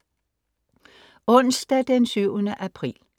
Onsdag den 7. april